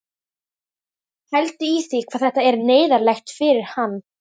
Pældu í því hvað þetta er neyðarlegt fyrir hann!